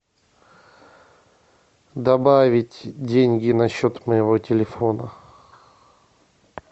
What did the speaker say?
добавить деньги на счет моего телефона